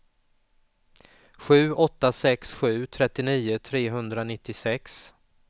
sju åtta sex sju trettionio trehundranittiosex